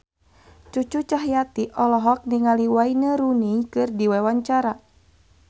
Cucu Cahyati olohok ningali Wayne Rooney keur diwawancara